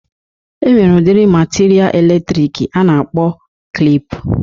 E nwere udiri matiria elektriki a na-akpọ klịp.